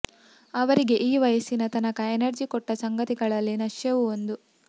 ಅವರಿಗೆ ಈ ವಯಸ್ಸಿನ ತನಕ ಎನರ್ಜಿ ಕೊಟ್ಟ ಸಂಗತಿಗಳಲ್ಲಿ ನಶ್ಯವೂ ಒಂದು